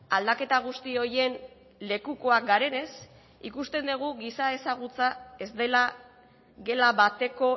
aldaketa guzti horien lekukoak garenez ikusten dugu giza ezagutza ez dela gela bateko